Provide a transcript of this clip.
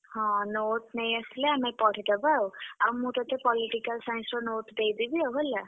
ହଁ note ନେଇଆସିଲେ ଆମେ ପଢି ଦବା ଆଉ। ଆଉ ମୁଁ ତତେ Political Science ର note ଦେଇଦେବି ଆଉ ହେଲା।